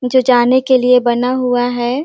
जो जाने के लिए बना हुआ है।